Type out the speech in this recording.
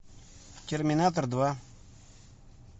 терминатор два